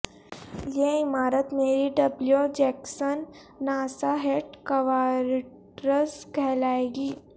یہ عمارت Mary W Jackson NASA headquarters کہلائے گی